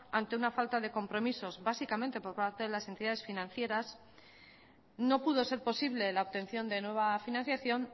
ante una falta de compromisos básicamente por parte de las entidades financieras no pudo ser posible la obtención de nueva financiación